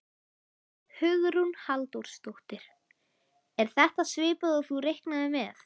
Hugrún Halldórsdóttir: Er þetta svipað og þú reiknaðir með?